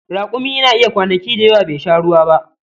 Rakumi yana iya kwanaki da yawa bai sha ruwa ba.